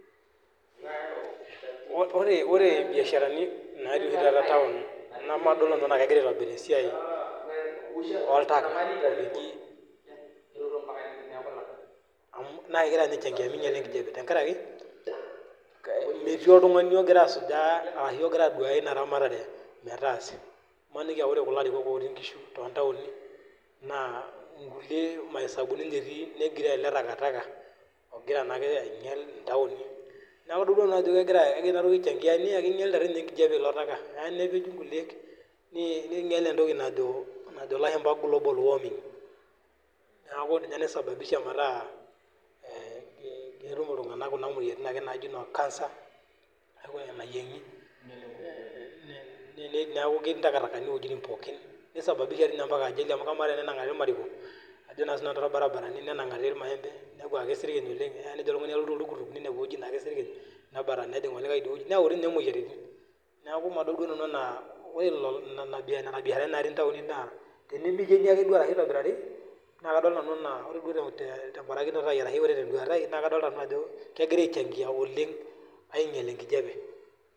Ore ibiasharani naatii oshi taata taon nabadol tee duo nenaa kegira aitobiraki esiai oltaka amu naakegira ashoo meinyala enkijape tenkaraki metii oltung'ani ogira asujaa arashu ogira aduaya ina ramatare matasa imaniki ake ajo ore kuli arikok ootii inkishuu too ntaoni naa ikulie ma hesabu ni ninche etii negiroo eletaka ogira naa ake ainyel intaoni naa kajo keitodolu ake ajo kegira inatoki ai changia naa keinyalita enkijape ilo taka keya nepeji neinyal entoki najo ilashumpa global warming neeku ninye nai sababisha metaa ketu ake iltung'anak kuna moyiaritin naajii noo cancer ina nayieng'i neeku katii intakatakani iwejitin pookin nei sababisha toi inyempaka ajali? amu kaaa tii inye tenenang'ari irmariko ajoo taa sinanu too irbarabarani neinang'ari irmayempe nekuu keisirkiny oleng' nejo oltung'ani alotu toltukutuk neinepu eweji naa keisirkiny nebatata nejing' olikae idie weji neyau tii inye imoyiaritin neeku madol duo nanu enaa oree nana biasharani naati intaoni naa peileleki aje duo arashu etobirari naa kadol nanu enaa ore duo tenkoitoi tebarakinoto aii arasho ore tenduataa aii naa kadolita nanu ajo kegira ai changia oleng' ainyel enkijape.